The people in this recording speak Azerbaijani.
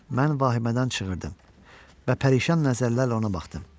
Mən vahimədən çığırdım və pərişan nəzərlərlə ona baxdım.